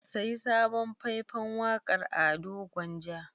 Ka sayi sabon fai-fan waƙar Ado Gwanja.